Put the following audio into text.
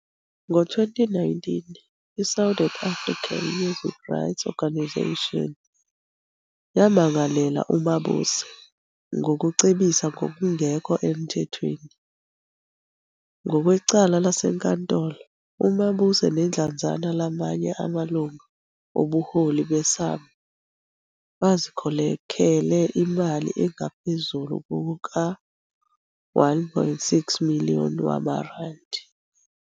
Ngo-2019 i- Southern African Music Rights Organisation yamangalela uMabuse ngokucebisa ngokungekho emthethweni. Ngokwecala lasenkantolo, uMabuse nedlanzana lamanye amalungu obuholi beSAMRO bazikhokhele imali engaphezu kuka-R1.6 Million wamarandi.